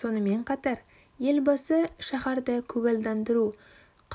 сонымен қатар елбасы шаһарды көгалдандыру